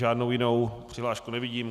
Žádnou jinou přihlášku nevidím.